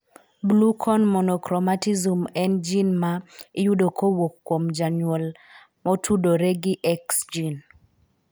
Blue cone monochromatism en gin ma iyudo kowuok kuom janyuol na otudore gi X gin